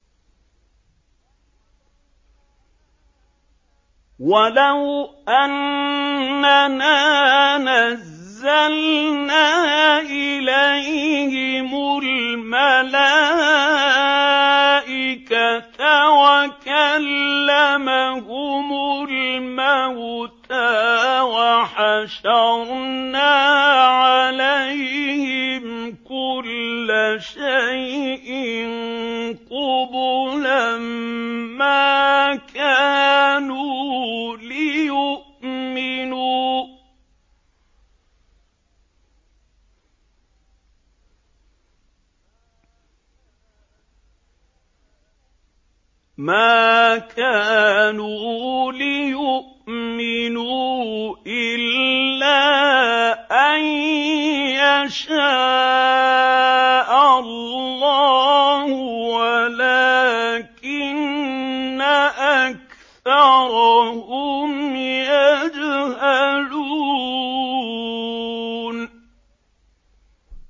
۞ وَلَوْ أَنَّنَا نَزَّلْنَا إِلَيْهِمُ الْمَلَائِكَةَ وَكَلَّمَهُمُ الْمَوْتَىٰ وَحَشَرْنَا عَلَيْهِمْ كُلَّ شَيْءٍ قُبُلًا مَّا كَانُوا لِيُؤْمِنُوا إِلَّا أَن يَشَاءَ اللَّهُ وَلَٰكِنَّ أَكْثَرَهُمْ يَجْهَلُونَ